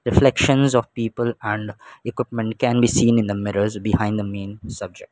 reflection is of people and equipment can be seen in the mirrors behind the main subject.